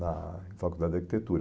na Faculdade de Arquitetura.